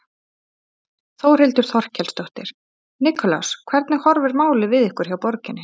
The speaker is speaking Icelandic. Þórhildur Þorkelsdóttir: Nikulás hvernig horfir málið við ykkur hjá borginni?